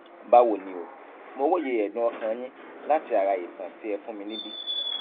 báwo ni o mo róye ẹdùnọkàn yín láti ara ìtàn tí ẹ fún mi níbi